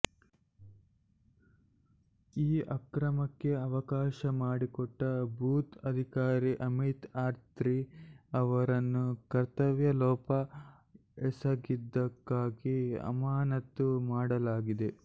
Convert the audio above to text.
ಈ ಅಕ್ರಮಕ್ಕೆ ಅವಕಾಶ ಮಾಡಿಕೊಟ್ಟ ಬೂತ್ ಅಧಿಕಾರಿ ಅಮಿತ್ ಅತ್ರಿ ಅವರನ್ನು ಕರ್ತವ್ಯಲೋಪ ಎಸಗಿದ್ದಕ್ಕಾಗಿ ಅಮಾನತು ಮಾಡಲಾಗಿದೆ